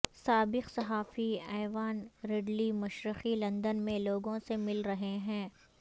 سابق صحافی Yvonne Ridley مشرقی لندن میں لوگوں سے مل رہی ہیں